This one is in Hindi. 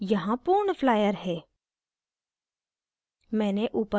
यहाँ पूर्ण flyer है